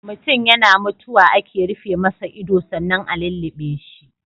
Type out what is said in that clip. Mutun yana mutuwa ake rufe masa ido sannan a lulluɓe shi.